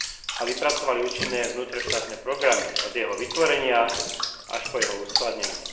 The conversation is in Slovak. a vypracovali účinné vnútroštátne programy od jeho vytvorenia až po jeho uskladnenie.